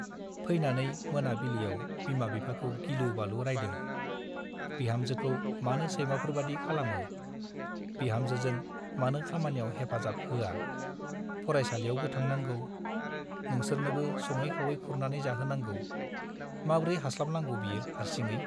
फैनानै मोना बिलियाव बिमा बिफाखौ गिलु - बालु रायदों- बिहामजोखौ मानो सैमाफोरबादि खालामो , बिहामजोजों मानो खामानियाव हैफाजाब होआ , फरायसालियावबो थांनांगौ , नोंसोरनोबो सङै खावै खुरनानै जाहोनांगौ , माब्रै हास्लाबनांगौ बियो हार्सिङै ?